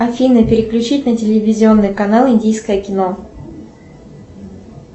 афина переключить на телевизионный канал индийское кино